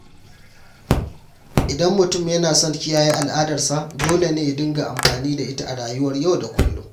Idan mutum yana son kiyaye al’adarsa, dole ne ya dinga amfani da ita a rayuwar yau da kullum.